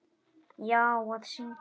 Davíð: Já, að syngja.